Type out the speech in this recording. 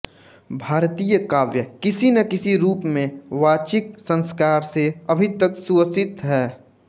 भारतीय काव्य किसी न किसी रूप में वाचिक संस्कार से अभी तक सुवसित है